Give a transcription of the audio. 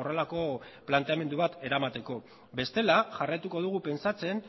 horrelako planteamendu bat eramateko bestela jarraituko dugu pentsatzen